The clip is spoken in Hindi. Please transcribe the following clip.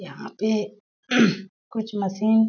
यहाँ पे कुछ मशीन --